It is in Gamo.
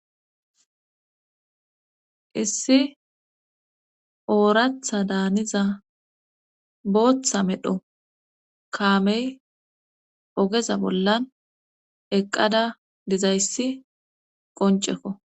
issi ooratha daaniza booththa medho kaamey ogeza bollan eqqada dizayssi qoncekko